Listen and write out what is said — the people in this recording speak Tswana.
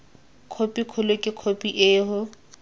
khophi kgolo ke khophi eo